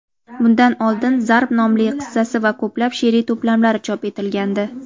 bundan oldin "Zarb" nomli qissasi va ko‘plab she’riy to‘plamlari chop etilgandi.